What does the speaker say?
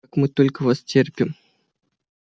как мы только вас терпим